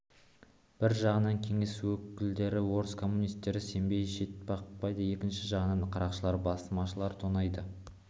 бір жағынан кеңес өкілдері орыс коммунистері сенбей шетқақпайлады екінші жағынан қарақшылар басмашылар тонайды